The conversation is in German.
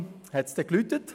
Um 08.00 Uhr klingelte es: